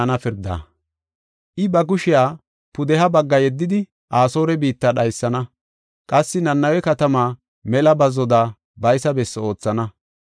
I ba kushiya pudeha bagga yeddidi Asoore biitta dhaysana. Qassi Nanawe katamaa mela bazzoda baysa bessi oothana.